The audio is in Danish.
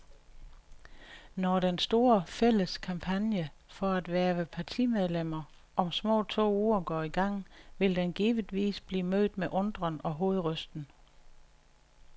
Når den store, fælles kampagne for at hverve partimedlemmer om små to uger går i gang, vil den givetvis blive mødt med undren og hovedrysten.